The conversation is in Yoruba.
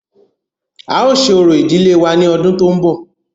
A ó ṣe orò ìdílé wa ní ọdún tó ń bọ̀.